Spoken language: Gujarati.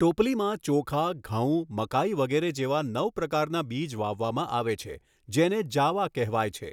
ટોપલીમાં ચોખા, ઘઉં, મકાઈ વગેરે જેવા નવ પ્રકારના બીજ વાવવામાં આવે છે જેને જાવા કહેવાય છે.